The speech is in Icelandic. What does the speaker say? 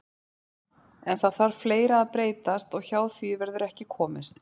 En það þarf fleira að breytast og hjá því verður ekki komist.